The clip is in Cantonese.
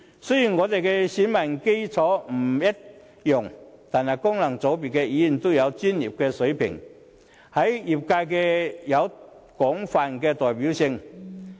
雖然我們的選民基礎不一樣，但功能界別的議員均具專業水平，在業界有廣泛的代表性。